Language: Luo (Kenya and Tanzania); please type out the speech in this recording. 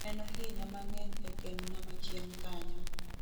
Nenohinya mang'eny e keny na machien kanyo.